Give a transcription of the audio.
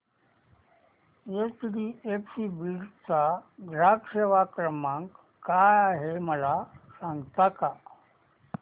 HDFC Beed चा ग्राहक सेवा क्रमांक काय आहे मला सांगता का